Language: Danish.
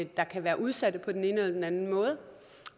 der kan være udsatte på den ene eller den anden måde